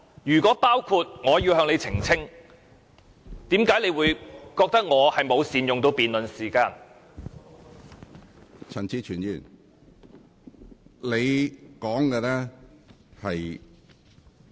如果包括，我要求你澄清，何故你會認為我沒有善用辯論時間？